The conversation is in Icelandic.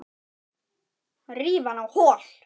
Ríf hana á hol.